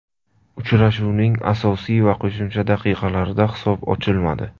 Uchrashuvning asosiy va qo‘shimcha daqiqalarida hisob ochilmadi.